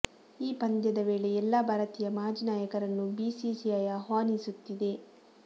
ಈ ಪಂದ್ಯದ ವೇಳೆ ಎಲ್ಲಾ ಭಾರತೀಯ ಮಾಜಿ ನಾಯಕರನ್ನು ಬಿಸಿಸಿಐ ಆಹ್ವಾನಿಸುತ್ತಿದೆ